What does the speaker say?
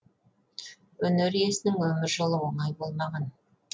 өнер иесінің өмір жолы оңай болмаған